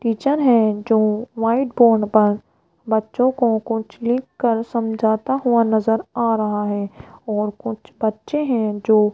teacher है जो white board पर बच्चों को कुछ लिखकर समझाता हुआ नजर आ रहा है और कुछ बच्चे हैं जो --